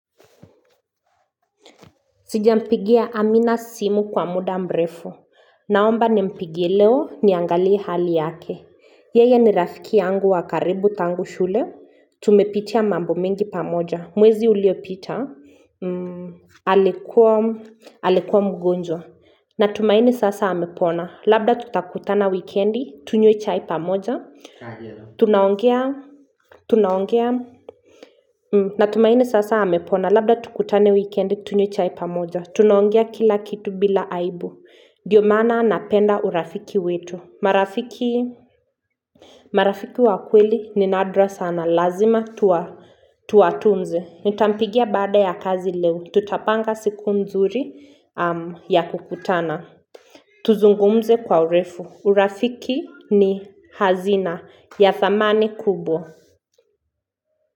Sijampigia Amina simu kwa muda mbrefu. Naomba nimpigie leo niangaliye hali yake. Yeye ni rafiki yangu wa karibu tangu shule. Tumepitia mambo mengi pamoja. Mwezi uliopita. Alikua mgonjwa. Natumaini sasa hamepona. Labda tutakutana wikendi, tunywe chae pamoja. Tunaongea. Tunaongea. Natumaini sasa hamepona. Labda tukutane wikendi tunywe chai pamoja. Tunaongea kila kitu bila aibu. Ndiyo maana napenda urafiki wetu. Marafiki wakweli ni nadra sana. Lazima tuwatunze. Nitampigia bada ya kazi leo. Tutapanga siku nzuri ya kukutana. Tuzungumze kwa urefu. Urafiki ni hazina ya thamani kubwa.